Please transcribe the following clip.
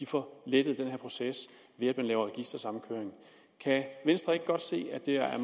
får lettet den proces ved at man laver registersamkøring kan venstre ikke godt se at det er